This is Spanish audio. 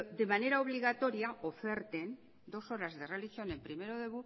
de manera obligatoria oferten dos horas de religión en primero de